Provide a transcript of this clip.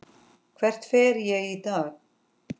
Hvert fer ég í dag?